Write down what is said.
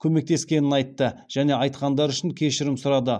көмектескенін айтты және айтқандары үшін кешірім сұрады